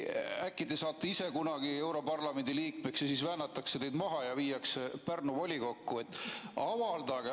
Äkki te saate ise kunagi europarlamendi liikmeks ja siis väänatakse teid maha ja viiakse Pärnu volikokku?